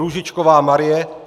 Růžičková Marie